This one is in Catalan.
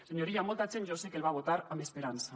senyor illa molta gent jo sé que el va votar amb esperança